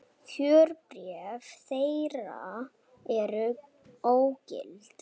Kjörbréf þeirra eru ógild